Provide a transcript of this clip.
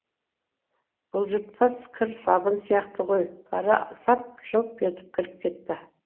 бұлжылпос кір сабын сияқты ғой бара сап жылп етіп кіріп кетті